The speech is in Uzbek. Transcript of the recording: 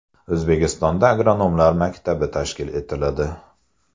O‘zbekistonda agronomlar maktabi tashkil etiladi.